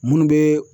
Munnu be